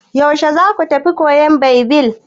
Yaushe za ku tafi koyan Baibil?